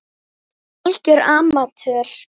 Algjör amatör.